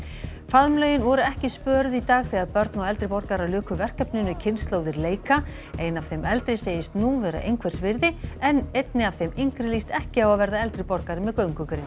faðmlögin voru ekki spöruð í dag þegar börn og eldri borgarar luku verkefninu kynslóðir leika ein af þeim eldri segist nú vera einhvers virði en einni af þeim yngri líst ekki á að verða eldri borgari með göngugrind